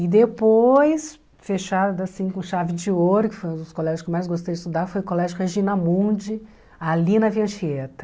E depois, fechado assim com chave de ouro, que foi um dos colégios que eu mais gostei de estudar, foi o Colégio Regina Mundi, ali na Via Anchieta.